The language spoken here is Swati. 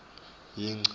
yingci